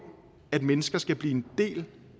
at mennesker skal blive en del